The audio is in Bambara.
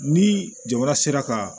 Ni jamana sera ka